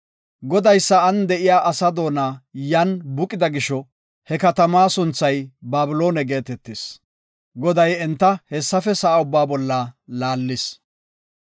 Goday sa7an de7iya asa doona yan buqida gisho he katamaa sunthay Babiloone geetetis. Goday enta hessafe sa7a ubbaa bolla laallis.